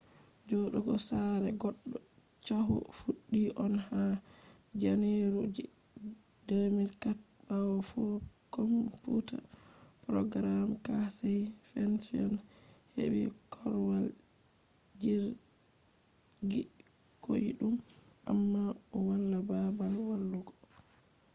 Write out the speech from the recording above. jodugo sare goddo chahu fuddi on ha janeru je 2004 bawo komfuta programmer casey fenton hebi korwal jirgi koidum amma o wala babal walugo